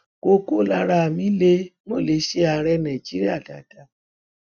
koko lára mi lẹ mọ lè ṣe ààrẹ nàìjíríà dáadáa